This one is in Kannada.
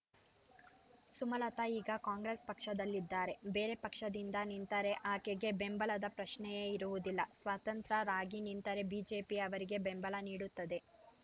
ಸುಮಲತಾ ಈಗ ಕಾಂಗ್ರೆಸ್ ಪಕ್ಷದಲ್ಲಿದ್ದಾರೆ ಬೇರೆ ಪಕ್ಷದಿಂದ ನಿಂತರೆ ಆಕೆಗೆ ಬೆಂಬಲದ ಪ್ರಶ್ನೆಯೇ ಇರುವುದಿಲ್ಲ ಸ್ವತಂತ್ರರಾಗಿ ನಿಂತರೆ ಬಿಜೆಪಿ ಅವರಿಗೆ ಬೆಂಬಲ ನೀಡುತ್ತದೆ